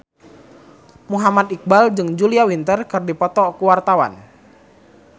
Muhammad Iqbal jeung Julia Winter keur dipoto ku wartawan